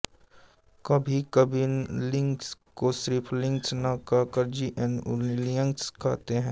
कभीकभी लिनक्स को सिर्फ लिनक्स न कहकर जीएनयूलिनक्स कहते हैं